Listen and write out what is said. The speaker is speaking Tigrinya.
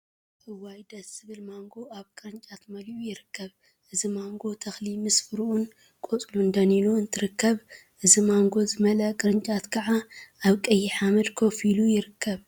እዋይ… ደስ ዝብል ማንጎ አብ ቅርጫት መሊኡ ይርከብ፡፡ እዚ ማንጎ ተክሊ ምስ ፍሪኡን ቆፅሉን ደኒኑ እንትርከብ እዚ ማንጎ ዝመል ቅርጫት ከዓ አብ ቀይሕ ሓመደ ኮፍ ኢሉ ይርከብ፡፡